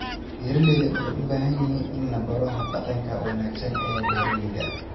Beeraleydu waxay u baahan yihiin in la baro hab-dhaqanka wanaagsan ee beeralayda.